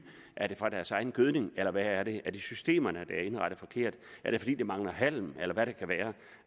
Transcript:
er den fra deres egen gødning eller hvad er det er det systemerne der er indrettet forkert er det fordi der mangler halm eller er det